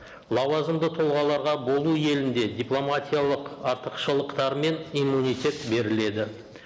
лауазымды тұлғаларға болу елінде дипломатиялық артықшылықтары мен иммунитет беріледі